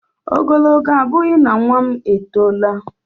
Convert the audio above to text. Ogologo abụghị na nwa m etoola